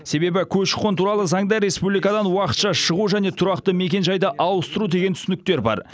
себебі көші қон туралы заңда республикадан уақытша шығу және тұрақты мекенжайды ауыстыру деген түсініктер бар